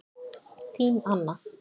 Þín Anna